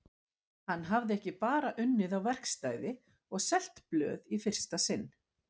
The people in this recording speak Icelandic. Hann hafði ekki bara unnið á verkstæði og selt blöð í fyrsta sinn.